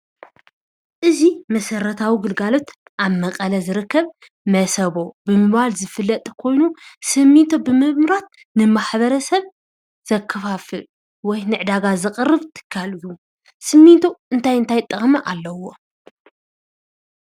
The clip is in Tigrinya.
እዚ መሰረታዊ ግልጋሎት አብ መቐለ ዝርከብ መሰቦ ብምባል ዝፍለጥ ኮይኑ ስሚንቶ ብምምራት ንማሕበረሰብ ዘከፋፍል ወይ ንዕዳጋ ዘቕርብ ትካል እዩ። ስሚንቶ እንታይ እንታይ ጥቕሚ አለዎ?